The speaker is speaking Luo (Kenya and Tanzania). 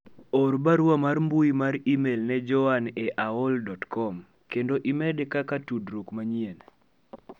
or barua mar mbui mar email ne joanne e aol dot kom kendo imede kaka udruok manyien